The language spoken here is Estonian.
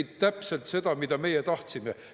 Ta tegi täpselt seda, mida meie tahtsime.